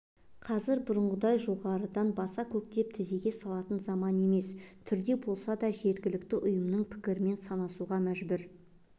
қазір бұрынғыдай жоғарыдан баса-көктеп тізеге салатын заман емес түрде болса да жергілікті ұйымның пікірмен санасуға мәжбүр